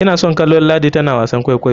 Ina son kallon ladi tana wasan kwaikwayo.